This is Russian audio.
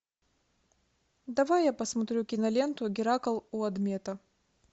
давай я посмотрю киноленту геракл у адмета